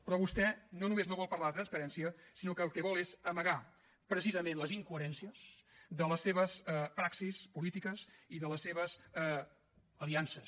però vostè no només no vol parlar de transparència sinó que el que vol és amagar precisament les incoherències de les seves praxis polítiques i de les seves aliances